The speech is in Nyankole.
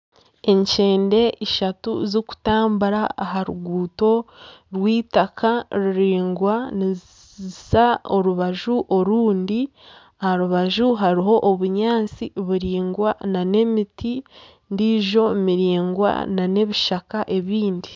Enkyende ishatu zikutambura aha ruguuto rw'itaka ruringwa niziza orubaju orundi aharubaju hariho obunyaatsi buringwa nana emiti endijo miringwa nana ebishaka ebindi